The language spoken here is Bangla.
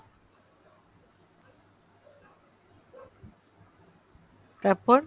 তারপর ?